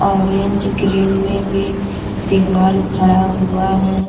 Orange green में भी दिवाल खड़ा हुआ है।